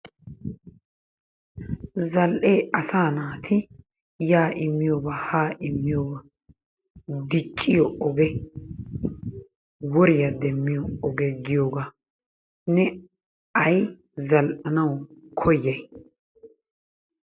zal''ee asaa naati yaa immiyooba, haa immiyooba, dicciyo oge, woriya demiyo oge, giyoogaa. Ne ay zal''anawu koyay?